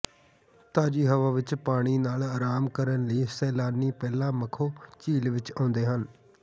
ਤਾਜੀ ਹਵਾ ਵਿਚ ਪਾਣੀ ਨਾਲ ਆਰਾਮ ਕਰਨ ਲਈ ਸੈਲਾਨੀ ਪਹਿਲਾਂ ਮਖੋ ਝੀਲ ਵਿਚ ਆਉਂਦੇ ਹਨ